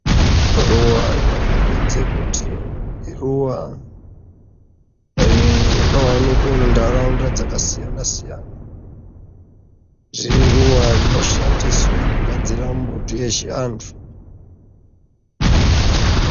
Ruva rinokombidze kuti iruva rinowanikwe muntaraunda dzakasiyana-siyana. Iruva rinoshandiswe kugadzire mbuti yechivantu.